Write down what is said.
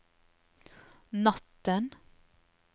natten